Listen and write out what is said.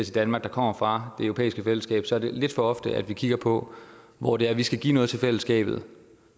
danmark der kommer fra det europæiske fællesskab er det lidt for ofte at vi kigger på hvor det er vi skal give noget til fællesskabet